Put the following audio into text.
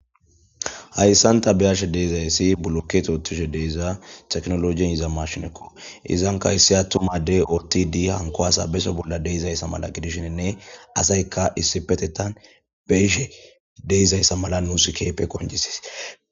hayssanta biyashe deezayssi bulokkete otushe deiza teknolojin iza mashinekko izanka issi attu madey otti di hanko asa beso bolla deizayssa mala gidishininne asayka issi petetan beyshe deizayssa mala nuus keepe konjisis